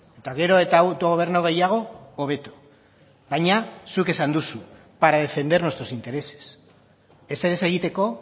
eta gero eta autogobernu gehiago hobeto baina zuk esan duzu para defender nuestros intereses ezer ez egiteko